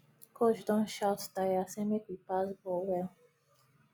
coach don shout tire say make we pass ball well